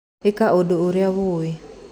Ĩka ũndũ ũrĩa wũĩ.